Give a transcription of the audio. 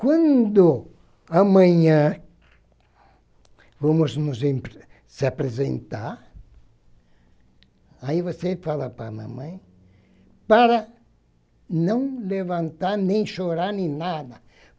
Quando amanhã vamos nos apre apresentar, aí você fala para a mamãe para não levantar, nem chorar, nem nada.